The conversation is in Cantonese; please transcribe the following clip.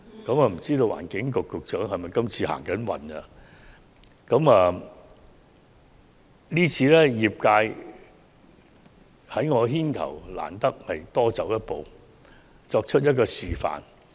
不知環境局局長是否走運，今次業界在我牽頭之下，難得多走一步，作出一個示範。